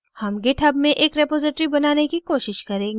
हम github में एक रेपॉसिटरी बनाने की कोशिश करेंगे